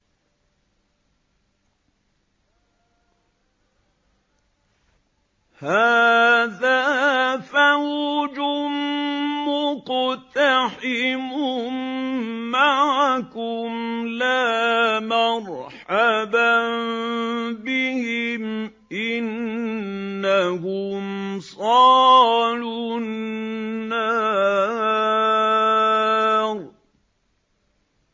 هَٰذَا فَوْجٌ مُّقْتَحِمٌ مَّعَكُمْ ۖ لَا مَرْحَبًا بِهِمْ ۚ إِنَّهُمْ صَالُو النَّارِ